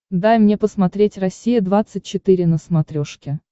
дай мне посмотреть россия двадцать четыре на смотрешке